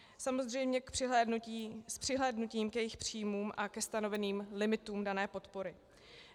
Samozřejmě s přihlédnutím k jejich příjmům a ke stanoveným limitům dané podpory.